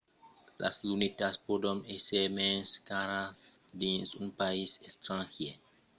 las lunetas pòdon èsser mens caras dins un país estrangièr especialament dins los païses de bas salari ont los còstes del trabalh son mai basses